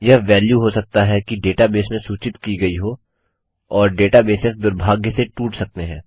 यह वेल्यू हो सकता है कि डेटाबेस से सूचित की गयी हो और डेटा बेसेस दुर्भाग्य से टूट सकते हैं